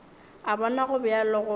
a bona go bjalo goba